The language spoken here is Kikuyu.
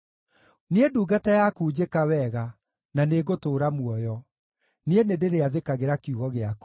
Niĩ ndungata yaku njĩka wega, na nĩngũtũũra muoyo; niĩ nĩndĩrĩathĩkagĩra kiugo gĩaku.